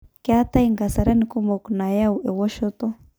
Ketae nkasarani kumok nayau ewoshoto.